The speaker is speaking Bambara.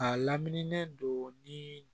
A laminilen don ni